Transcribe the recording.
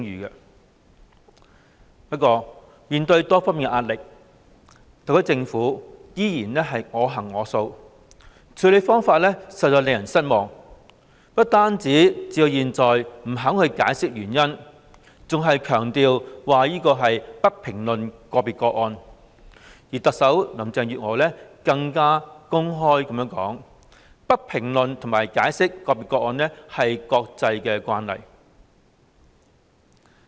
然而，面對多方壓力，特區政府依然我行我素，處理方法實在令人失望，不但至今未肯解釋原因，更強調"不評論個別個案"，特首林鄭月娥更公開說"不評論和解釋個別個案是國際慣例"。